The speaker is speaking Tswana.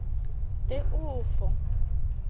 teofo